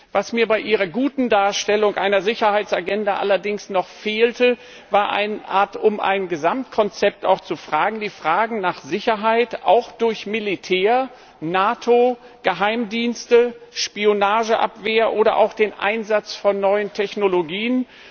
Was mir bei Ihrer guten Darstellung einer Sicherheitsagenda allerdings noch fehlte, war die Frage nach einer Art Gesamtkonzept, die Frage nach Sicherheit auch durch Militär, NATO, Geheimdienste, Spionageabwehr oder auch den Einsatz von neuen Technologien.